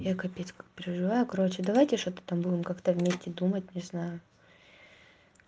я капец как переживаю короче давайте что-то там будем как-то вместе думать не знаю